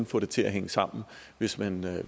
få det til at hænge sammen hvis man